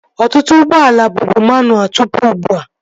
Ọtụtụ ụgbọala bụbu manualụ tụpụ ugbua